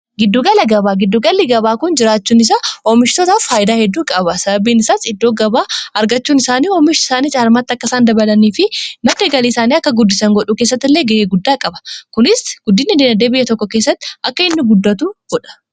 Giddu-galli gabaa kun, jiraachuun isaa oomishtotaaf faayidaa hedduu qaba. Sababbiin isaas iddoo gabaa argachuun isaanii oomish isaanii caalmaatti akka isaan dabalanii fi madda galii isaanii akka guddisan godhuu keessatti illee ga'ee guddaa qaba. Kunis guddin diinagdee biyya tokko keessatti akka inni guddatu godha.